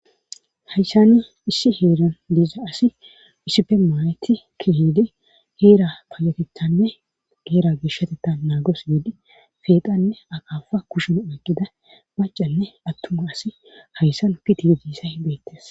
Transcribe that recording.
Hayssani issi heeran diiza asi issipe maayeti kihiide heera payatethanne geera geshshatetta naagos giidi feeqanne aqaafa kushuna aqqida macanne attuma asi hayssan piti yogissa hibeettes.